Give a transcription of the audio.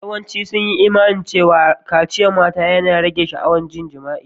Yawancin sun yi Imani cewa kaciyar mata yana rage sha'awar jima'i.